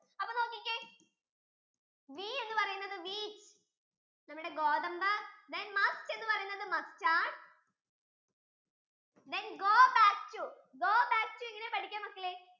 അപ്പൊ നോക്കിക്കേ wheat എന്ന് പറയുന്നത് നമ്മുടെ ഗോതമ്പ് then musk ഇന്ന് പറയുന്നത് നമ്മുടെ mustard, then go back to, go back to എങ്ങനെയാ പഠിക്കുക മക്കളെ